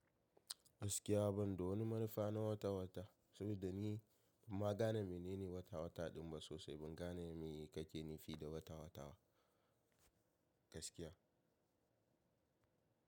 Gaskiya ban da wani manufa na wata-wata, saboda ni ban ma gane menene wata-wata din ba sosai. Ban gane me kake nifi da wata-wata ba gaskiya.